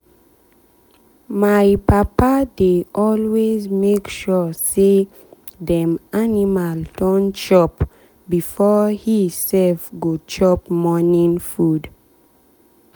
anytime wey our chicken hear dia mama leg laidisdem go just dey close to the door sharp.